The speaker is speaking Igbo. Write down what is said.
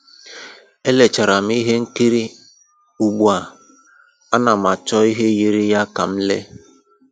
E lecharam ihe nkiri, ugbua, ana m achọ ihe yiri ya ka m lee